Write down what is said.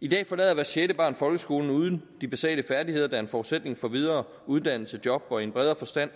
i dag forlader hvert sjette barn folkeskolen uden de basale færdigheder der er en forsætning for videre uddannelse og job og i en bredere forstand